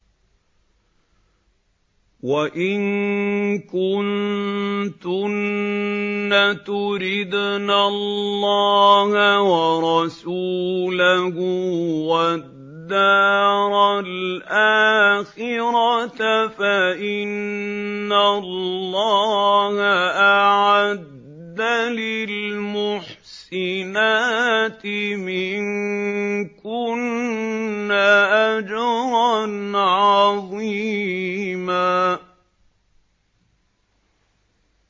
وَإِن كُنتُنَّ تُرِدْنَ اللَّهَ وَرَسُولَهُ وَالدَّارَ الْآخِرَةَ فَإِنَّ اللَّهَ أَعَدَّ لِلْمُحْسِنَاتِ مِنكُنَّ أَجْرًا عَظِيمًا